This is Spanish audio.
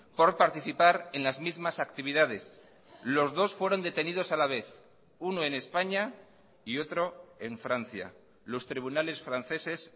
por participar en las mismas actividades los dos fueron detenidos a la vez uno en españa y otro en francia los tribunales franceses